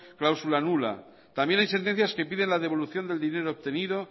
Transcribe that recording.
cláusula nula también hay sentencias que piden la devolución del dinero obtenido